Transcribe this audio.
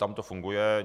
Tam to funguje.